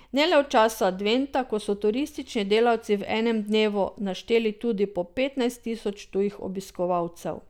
Ne le v času adventa, ko so turistični delavci v enem dnevu našteli tudi po petnajst tisoč tujih obiskovalcev.